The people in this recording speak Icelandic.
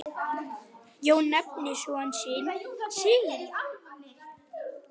Jón nefndi son sinn Sigurð.